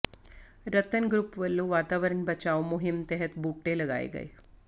ਰਤਨ group ਵੱਲੋਂ ਵਾਤਾਵਰਨ ਬਚਾਓ ਮੁਹਿੰਮ ਤਹਿਤ ਬੂਟੇ ਲਗਾਏ ਗਏ